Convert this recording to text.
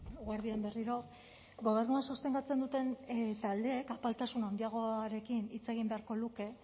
eguerdi on berriro gobernua sostengatzen duten taldeek apaltasun handiagoarekin hitz egin beharko luke